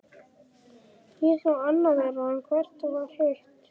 Ísland var annað þeirra, en hvert var hitt?